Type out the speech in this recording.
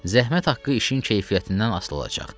Zəhmət haqqı işin keyfiyyətindən asılı olacaq.